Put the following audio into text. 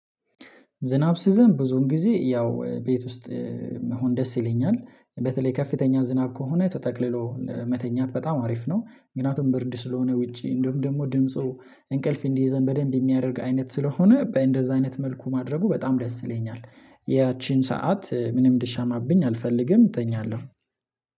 ዝናብ ሲዘንብ ብዙን ጊዜ ያው ቤት ውስጥ መሆን ደስ ይለኛል በተለይ ከፍተኛ ዝናብ ከሆነ ተጠቅልሎ መተኛት በጣም አሪፍ ነው። ምክንያቱም ብርድ ስለሆነ ውጪ እንሁም ደግሞ ድምፁ እንቅልፍ እንዲይዘን በደንብ የሚያደርግ አይነት ስለሆነ በእንደዛ አይነት መልኩ ማድረጉ በጣም ደስ ይለኛል። ያቺን ሰዓት ምንም እንዲሻማብኝ አልፈልግም እተኛለሁ።